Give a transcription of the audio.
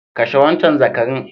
Kashe wancan zakarin!